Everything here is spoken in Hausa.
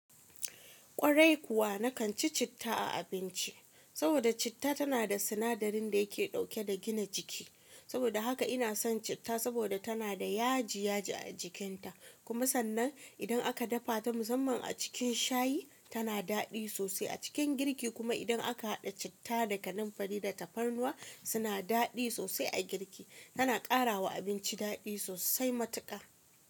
Kwarai kuwa na kan ci citta a abinci, saboda citta tana da sinadarin da yake dauke da gina jiki. Saboda haka ina son citta saboda tana da yaji yaji a jikinta, kuma sannan idan aka dafa ta musamman a cikin shayi tana daɗi sosai a cikin girki kuma idan aka haɗa citta da kanumfari da tafarnuwa suna daɗi sosai a girki. Tana ƙara wa abinci daɗi sosai matuƙa.